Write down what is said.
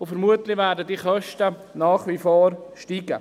Vermutlich werden diese Kosten nach wie vor ansteigen.